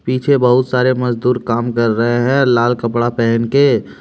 पीछे बहुत सारे मजदूर काम कर रहे है लाल कपड़ा पहन के।